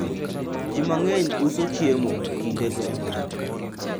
watu wengi huuza vyakula wakati huo